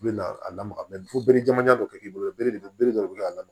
U bɛ na a lamaga fo bere jamanjan dɔ kɛ k'i bolo bere dɔ bi k'a la